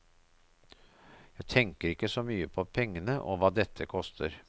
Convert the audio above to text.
Jeg tenker ikke så mye på pengene og hva dette koster.